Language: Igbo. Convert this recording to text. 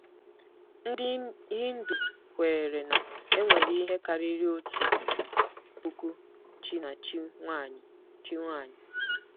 Ndị Hindu kweere na e nwere ihe karịrị otu puku chi na chi nwaanyị. chi nwaanyị.